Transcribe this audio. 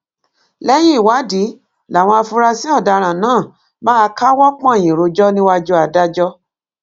lẹyìn ìwádìí làwọn afurasí ọdaràn náà máa káwọ pọnyìn rojọ níwájú adájọ